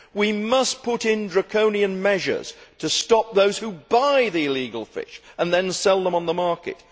We must put in draconian measures to stop those who buy the illegal fish and then sell them on the market.